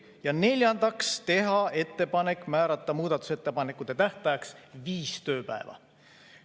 Ja neljandaks, teha ettepanek määrata muudatusettepanekute tähtajaks 5 tööpäeva.